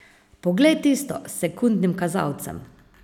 Poglej tisto, s sekundnim kazalcem.